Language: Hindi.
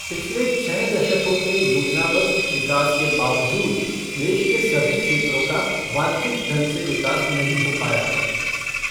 पिछले छः दशकों के योजनाबद्ध विकास के बावजूद देश के सभी क्षेत्रों का वांछित ढंग से विकास नहीं हो पाया है।